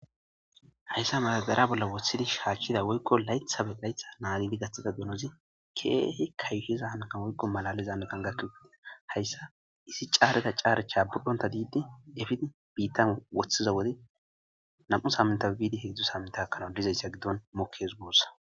Hayssa madabera bolla woththidi shaachchida woykko laythabe laytha naadili gaththida genozi keehi kayuhiza hankan woykko malalizae gangakkegide hayssa isi caarda caarcha budhonta diidde efid biitta woththiza wode nam'u saaminta biidi heedzdzu samitakanawu dizayssa giddon mokkes goossa.